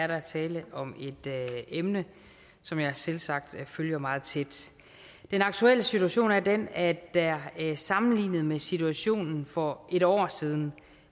der er tale om et emne som jeg selvsagt følger meget tæt den aktuelle situation er den at der sammenlignet med situationen for et år siden